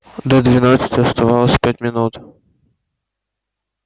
до двенадцати оставалось пять минут